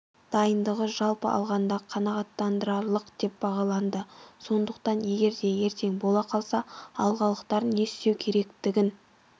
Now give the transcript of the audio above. дайындығы жалпы алғанда қанағаттандырарлық деп бағаланды сондықтан егерде ертең бола қалса алғалықтар не істеу керектігін